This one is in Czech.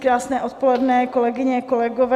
Krásné odpoledne, kolegyně, kolegové.